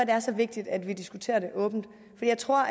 er så vigtigt at vi diskuterer det åbent for jeg tror